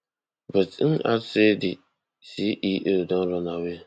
but im add say di ceo don run away